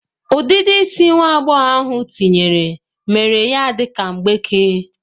Udidi isi nwa agboghobia ahụ tinyere mere ya dika mgbeke.